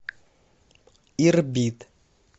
ирбит